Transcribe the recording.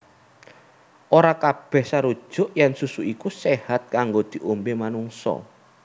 Ora kabèh sarujuk yèn susu iku séhat kanggo diombé manungsa